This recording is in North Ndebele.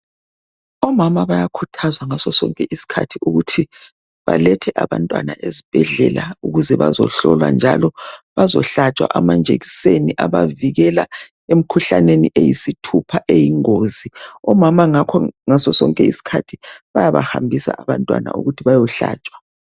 Omama bayakhuthazwa ngaso sonke isikhathi ukuthi balethe abantwana esibhedlela ukuze bazohlolwa bazehlatshwa amanjekiseni abavikela emkhuhlaneni eyisithupha eyingozi. Omama ngakho ngasosonke isikhathi bayabahambisa abantwana ukuthi baye hlatswa